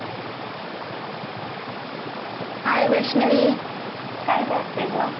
hi Vaishnavi काय करते गं